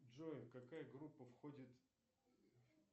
джой какая группа входит